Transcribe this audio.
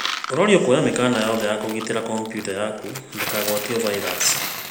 Ũrorio kuoya mĩkana yothe ya kũgitĩra kompiuta yaku ndĩkagwatio vairasi